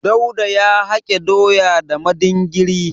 Dauda ya hake doya da madingiri.